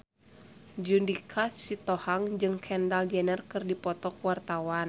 Judika Sitohang jeung Kendall Jenner keur dipoto ku wartawan